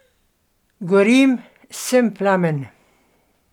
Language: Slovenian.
Gorim, sem plamen.